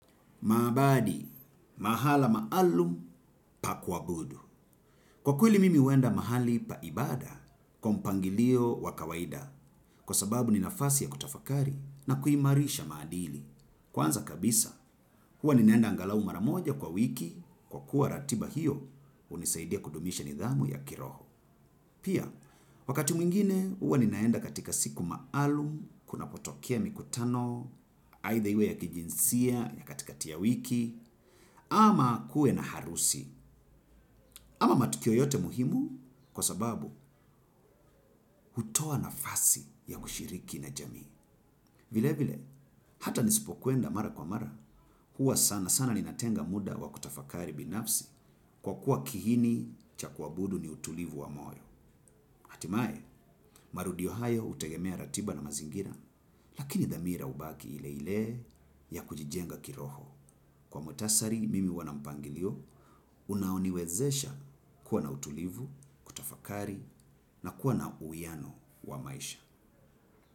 Maabadi, mahala maalum pakua budu. Kwa kweli mimi huenda mahali paibada, kwampangilio wakawaida kwa sababu ninafasi ya kutafakari na kuimarisha maadili. Kwanza kabisa, huwa ninaenda angalau maramoja kwa wiki kwa kuwa ratiba hiyo hunisaidia kudumisha nidhamu ya kiroho. Pia, wakati mwingine huwa ninaenda katika siku maalum, kuna potokea mikutano, aidha iwe ya kijinsia, ya katika tiya wiki, ama kuwe na harusi, ama matukio yoyote muhimu kwa sababu hutoa na fasi ya kushiriki na jamii. Vile vile, hata nisipo kwenda mara kwa mara, huwa sana sana ninatenga muda wa kutafakari binafsi kwa kuwa kiini cha kuabudu ni utulivu wa moyo. Hatimaye, marudio hayo hutegemea ratiba na mazingira, lakini dhamira hubaki ile ile ya kujijenga kiroho. Kwa mktasari mimihu wanampangilio, unaoniwezesha kuwa na utulivu, kutafakari na kuwa na uwiyano wa maisha.